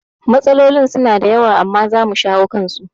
Matsalolin suna da yawa amma zamu shawo kansu